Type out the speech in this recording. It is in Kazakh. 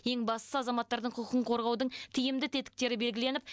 ең бастысы азаматтардың құқығын қорғаудың тиімді тетіктері белгіленіп